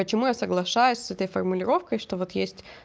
почему я соглашаюсь с этой формулировкой что вот есть